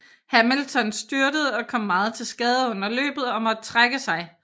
Hamilton styrtede og kom meget til skade under løbet og måtte trække sig